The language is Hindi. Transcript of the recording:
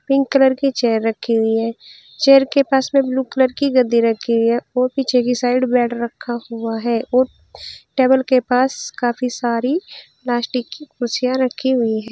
पिंक कलर की चेयर रखी हुई है चेयर के पास में ब्लू कलर की गद्दी रखी हुई है और पीछे की साइड बेड रखा हुआ है और टेबल के पास काफी सारी प्लास्टिक की कुर्सियां रखी हुई है।